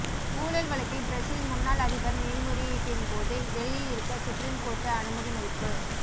ஊழல் வழக்கில் பிரேசில் முன்னாள் அதிபர் மேல்முறையீட்டின்போது வெளியில் இருக்க சுப்ரீம்கோர்ட்டு அனுமதி மறுப்பு